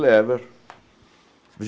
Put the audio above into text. Lever.